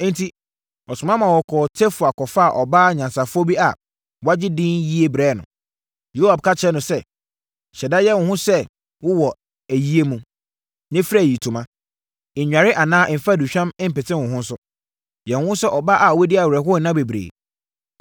Enti, ɔsoma ma wɔkɔɔ Tekoa kɔfaa ɔbaa nyansafoɔ bi a wagye edin yie brɛɛ no. Yoab ka kyerɛɛ no sɛ, “Hyɛ da yɛ wo ho sɛ wowɔ ayie mu, na fira ayitoma. Nnware anaa mfa aduhwam mpete wo ho nso. Yɛ wo ho sɛ ɔbaa a wadi awerɛhoɔ nna bebree.